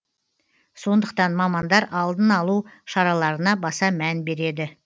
сондықтан мамандар алдын алу шараларына баса мән береді